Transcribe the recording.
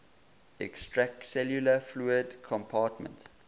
extracellular fluid compartment